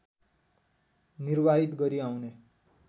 निर्वाहित गरी आउने